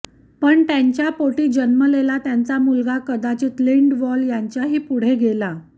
पण त्यांच्या पोटी जन्मलेला त्यांचा मुलगा कदाचित लिंडवॉल यांच्याही पुढे गेला